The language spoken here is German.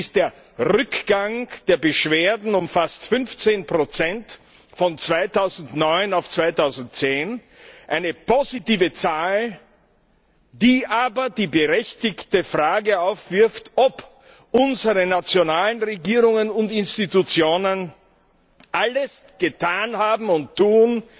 Es ist der Rückgang der Beschwerden um fast 15 von 2009 auf 2010 eine positive Zahl, die aber die berechtigte Frage aufwirft, ob unsere nationalen Regierungen und Institutionen alles getan haben und tun,